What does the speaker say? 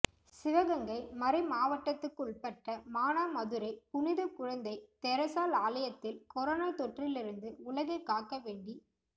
சிவகங்கை மறைமாவட்டத்துக்குள்பட்ட மானாமதுரை புனித குழந்தை தெரசாள் ஆலயத்தில் கரோனா தொற்றிலிருந்து உலகைக் காக்க வேண்டி